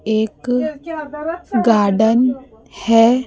एक गार्डन है।